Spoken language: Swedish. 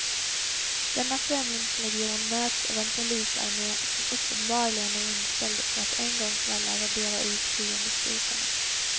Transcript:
Denna främlingslegion möts av en polisarmé som uppenbarligen är inställd på att en gång för alla radera ut fiendestyrkorna.